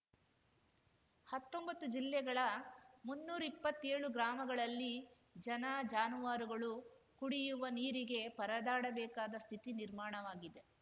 ಹತ್ತೊಂಬತ್ತು ಜಿಲ್ಲೆಗಳ ಮುನ್ನೂರಿಪ್ಪತ್ತೇಳು ಗ್ರಾಮಗಳಲ್ಲಿ ಜನಜಾನುವಾರುಗಳು ಕುಡಿಯುವ ನೀರಿಗೆ ಪರದಾಡಬೇಕಾದ ಸ್ಥಿತಿ ನಿರ್ಮಾಣವಾಗಿದೆ